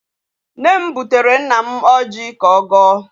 Nne m butere nna m ọjị ka ọ gọọ.